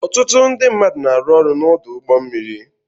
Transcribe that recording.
Ọtụtụ ndị mmadụ na-arụ ọrụ n'ọdụ ụgbọ mmiri.